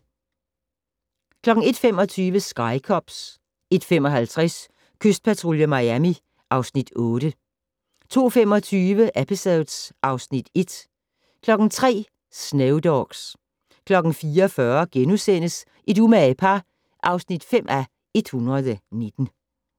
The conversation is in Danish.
01:25: Sky Cops 01:55: Kystpatrulje Miami (Afs. 8) 02:25: Episodes (Afs. 1) 03:00: Snow Dogs 04:40: Et umage par (5:119)*